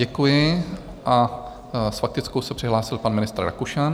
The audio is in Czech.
Děkuji a s faktickou se přihlásil pan ministr Rakušan.